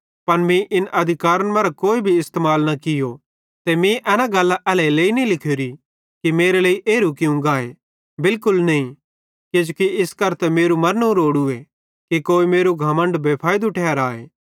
पन मीं इन अधिकारन मरां कोई भी इस्तेमाल न कियो ते मीं एना गल्लां एल्हेरेलेइ नईं लिखोरी कि मेरे लेइ एरू कियूं गाए बिलकुल नईं किजोकि इस करां त मेरू मरनू रोड़ूए कि कोई मेरू घमण्ड बेफैइदू ठहराए